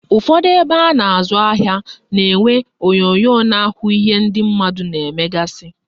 Ụfọdụ ebe a na-azụ ahịa na-enwe onyonyo na-ahụ ihe ndị mmadụ na-emegasị